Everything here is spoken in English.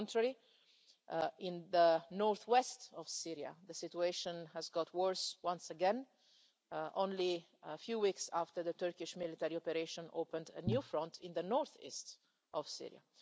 On the contrary, in the north west of Syria, the situation has got worse once again, only a few weeks after the Turkish military operation opened a new front in the north east of Syria.